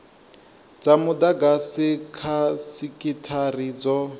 dza mudagasi kha sekithara dzo